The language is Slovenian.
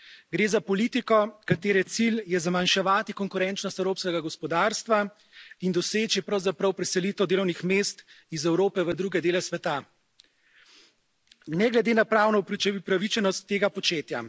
Gre za politiko, katere cilj je zmanjševati konkurenčnost evropskega gospodarstva in doseči pravzaprav preselitev delovnih mest iz Evrope v druge dele sveta, ne glede na pravno upravičenost tega početja.